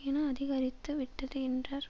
என அதிகரித்துவிட்டது என்றார்